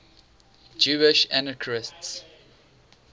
jewish anarchists